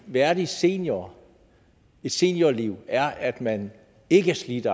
værdigt seniorliv seniorliv er at man ikke er slidt